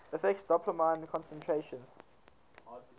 affects dopamine concentrations